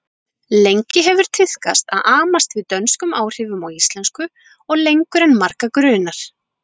Lengi hefur tíðkast að amast við dönskum áhrifum á íslensku og lengur en marga grunar.